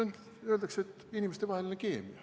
Öeldakse, et inimestevaheline keemia.